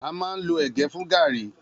A má ń lo ẹ̀gẹ́ fún gààríí.